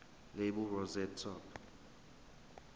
lapel rosette top